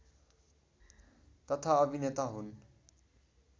तथा अभिनेता हुन्